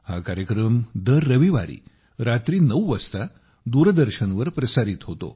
हा कार्यक्रम दर रविवारी रात्री 9 वाजता दूरदर्शनवर प्रसारित होतो